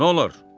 Nə olar?